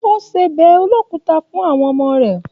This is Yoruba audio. O ṣe ọbẹ olokuta fún àwọn ọmọ rẹ.